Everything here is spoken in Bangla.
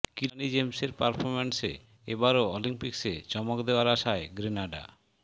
কিরানি জেমসের পারফরম্যান্সে এবারও অলিম্পিক্সে চমক দেওয়ার আশায় গ্রেনাডা